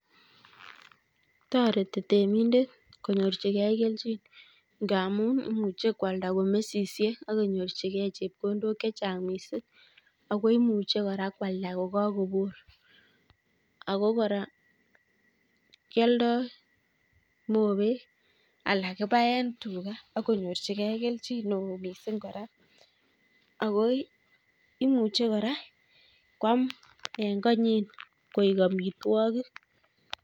Toreti temindet konyorchgei kelchin ngaamu imuche kwalda komesisiek akonyorchigei chepkondok chechang' miising' akoimuche kwalda kora kokakobor ako kora kialdai mobek alan kibae tuga akonyorchigei kelchin neo miising' kora akoi imuchi kora kwam koek amitwogik